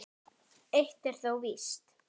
Eitt er þó víst.